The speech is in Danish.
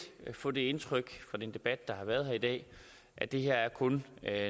få det indtryk fra den debat der har været her i dag at det her kun er